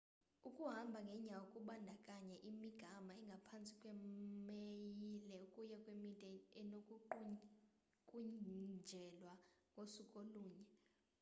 ukuhamba ngenyawo kubandakanya imigama engaphantsi kwemayile ukuya kwemide enokuqukunjelwa ngosuku olunye